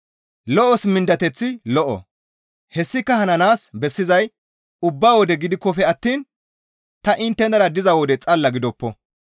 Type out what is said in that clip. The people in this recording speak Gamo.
Lo7os mindateththi lo7o; hessika hananaas bessizay ubba wode gidikkofe attiin ta inttenara diza wode xalla gidoppo.